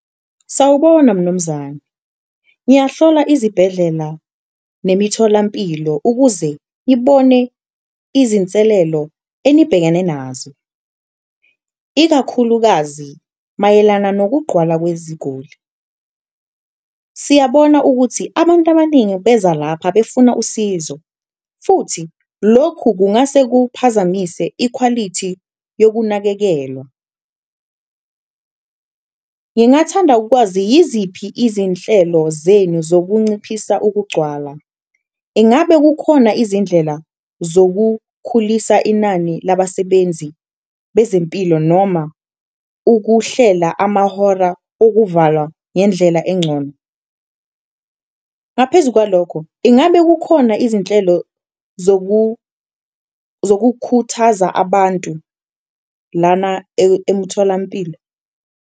Sawubona mnumzane, ngiyahlola izibhedlela nemitholampilo ukuze ngibone izinselelo enibhekane nazo, ikakhulukazi mayelana nokugqwala kweziguli siyabona ukuthi abantu abaningi beza lapha befuna usizo futhi lokhu kungase kuphazamise ikhwalithi yokunakekelwa. Ngingathanda ukwazi, yiziphi izinhlelo zenu zokunciphisa ukugcwala? Ingabe kukhona izindlela zokukhulisa inani labasebenzi bezempilo noma ukuhlela amahora okuvalwa ngendlela encono? Ngaphezu kwalokho, ingabe kukhona izinhlelo zokukhuthaza abantu lana emtholampilo?